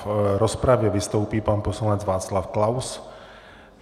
V rozpravě vystoupí pan poslanec Václav Klaus.